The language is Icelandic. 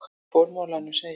Í formálanum segir